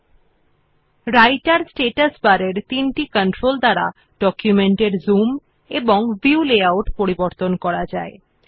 the three controls on the রাইটের status bar also allow to change the zoom and view layout of our document